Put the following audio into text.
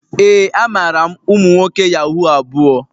Ee, amaara m umu nwoke yahoo abuo.